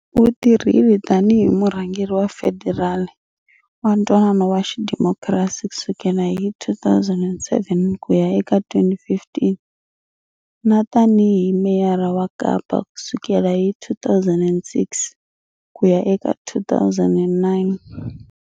U tirhile tanihi Murhangeri wa Federali wa ntwanano wa xidemokirasi kusukela hi 2007 kuya eka 2015 na tanihi Meyara wa kapa kusukela hi 2006 kuya eka 2009.